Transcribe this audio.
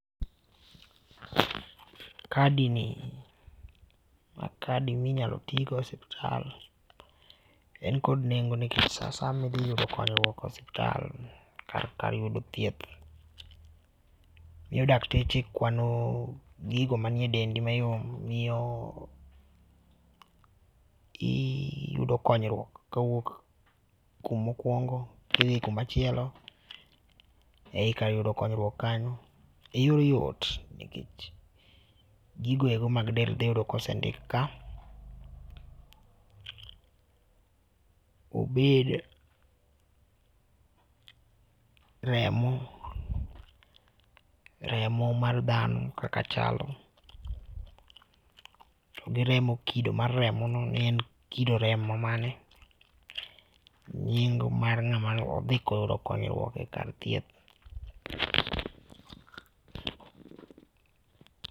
Kadi ni, ma kadi mi inyalo ti go e osiptal. En kod nengo nikech sa asaya ma idhi yudo konyruok e osiptal kar yudo thieth. Miyo dakteche kwano gigo manie dendi mayom miyo iyudo konyruok kawuok kuma okwongo kidhi kuma chielo. Ei kar yudo konyruok kanyo iyudo yot nikech gigo ego mag del be iyudo ka osendik ka. Obed remo, remo mar dhano kaka chalo, to gi remo, kido mar remono obed ni en kido remo mane, nying mar ng'ama ne odhi yudo konyruok e kar thieth.